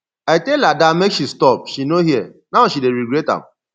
i tell ada make she stop she no hear now she dey regret am